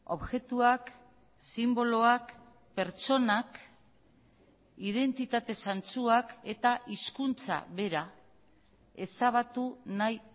objektuak sinboloak pertsonak identitate zantzuak eta hizkuntza bera ezabatu nahi